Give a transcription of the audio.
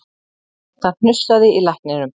En það hnussaði í lækninum